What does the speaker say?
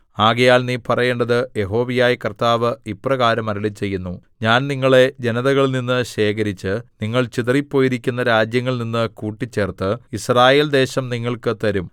ആകയാൽ നീ പറയേണ്ടത് യഹോവയായ കർത്താവ് ഇപ്രകാരം അരുളിച്ചെയ്യുന്നു ഞാൻ നിങ്ങളെ ജനതകളിൽനിന്ന് ശേഖരിച്ച് നിങ്ങൾ ചിതറിപ്പോയിരിക്കുന്ന രാജ്യങ്ങളിൽനിന്ന് കൂട്ടിച്ചേർത്ത് യിസ്രായേൽദേശം നിങ്ങൾക്ക് തരും